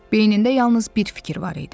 Beynində yalnız bir fikir var idi.